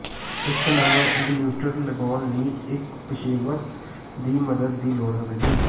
ਇੱਕ ਨਵਾਂ ਇਗਨੂਟਰ ਲਗਾਉਣ ਲਈ ਇੱਕ ਪੇਸ਼ੇਵਰ ਦੀ ਮਦਦ ਦੀ ਲੋੜ ਹੋਵੇਗੀ